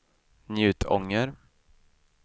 Njutånger